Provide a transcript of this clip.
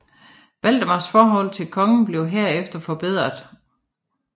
Valdemars forhold til kongen blev herefter forbedret